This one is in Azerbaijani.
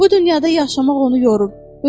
Bu dünyada yaşamaq onu yorub.